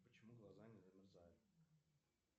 почему глаза не замерзают